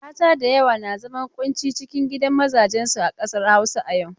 Mata da yawa na zaman ƙunci ciki a gidan mazajen su a ƙasar Hausa a yau.